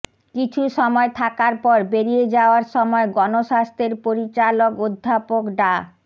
কিছু সময় থাকার পর বেরিয়ে যাওয়ার সময় গণস্বাস্থ্যের পরিচালক অধ্যাপক ডা